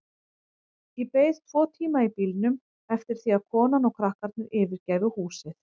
Ég beið tvo tíma í bílnum eftir því að konan og krakkarnir yfirgæfu húsið.